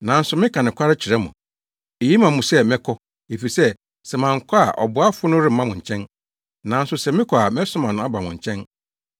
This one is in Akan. Nanso meka nokware kyerɛ mo; eye ma mo sɛ mɛkɔ, efisɛ sɛ mankɔ a ɔboafo no remma mo nkyɛn, nanso sɛ mekɔ a mɛsoma no aba mo nkyɛn.